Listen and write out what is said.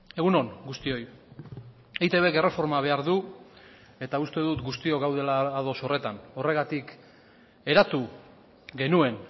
egun on guztioi eitbk erreforma behar du eta uste dut guztiok gaudela ados horretan horregatik eratu genuen